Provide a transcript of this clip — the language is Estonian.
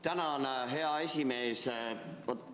Tänan, hea esimees!